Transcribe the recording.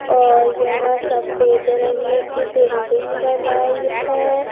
और यह सफेद रंग की बिल्डिंग बनाई है।